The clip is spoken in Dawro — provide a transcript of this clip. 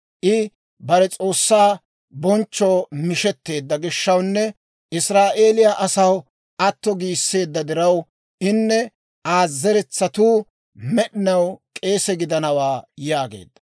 I bare S'oossaa bonchchoo mishetteedda gishshawnne Israa'eeliyaa asaw atto giisseedda diraw, inne Aa zeretsatuu med'inaw k'eese gidanawaa» yaageedda.